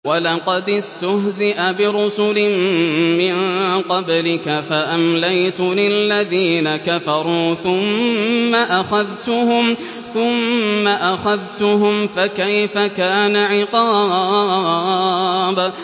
وَلَقَدِ اسْتُهْزِئَ بِرُسُلٍ مِّن قَبْلِكَ فَأَمْلَيْتُ لِلَّذِينَ كَفَرُوا ثُمَّ أَخَذْتُهُمْ ۖ فَكَيْفَ كَانَ عِقَابِ